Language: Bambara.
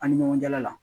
An ni ɲɔgɔn cɛla la